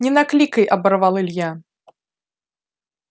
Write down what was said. не накликай оборвал илья